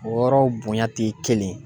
O yɔrɔw bonya ti kelen ye.